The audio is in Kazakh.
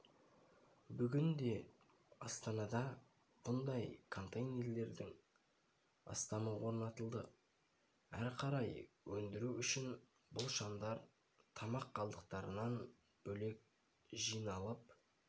бүгінде астанада бұндай контейнерлердің астамы орнатылды әрі қарай өндіру үшін бұл шамдар тамақ қалдықтарынан бөлек жиналып